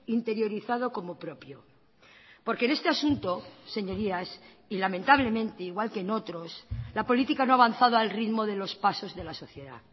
interiorizado como propio porque en este asunto señorías y lamentablemente igual que en otros la política no ha avanzado al ritmo de los pasos de la sociedad